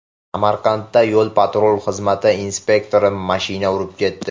Samarqandda yo‘l-patrul xizmati inspektorini mashina urib ketdi.